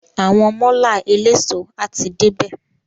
Àwọn málà eléso a ti dé bè.